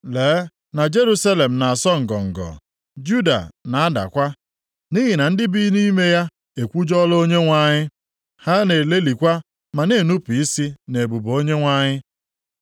Lee na Jerusalem na-asọ ngọngọ. Juda na-adakwa. + 3:8 \+xt 2Ih 36:17\+xt* Nʼihi na ndị bi nʼime ya ekwujọọla Onyenwe anyị. Ha na-elelịkwa, ma na-enupu isi nʼebube Onyenwe anyị.